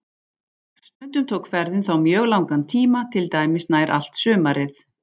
Stundum tók ferðin þá mjög langan tíma, til dæmis nær allt sumarið.